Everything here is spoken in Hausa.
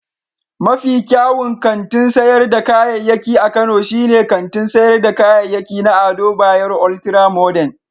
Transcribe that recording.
Mafi kyawun kantin sayar da kayayyaki a Kano shine kantin sayar da kayayyaki na Ado Bayero Ultra-Modern.